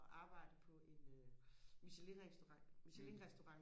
og arbejde på en michelin restaurant michelin restaurant